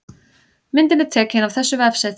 Myndin er tekin af þessu vefsetri